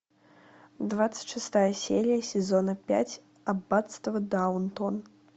двадцать шестая серия сезона пять аббатство даунтон